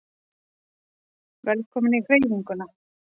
Velkomin í Hreyfinguna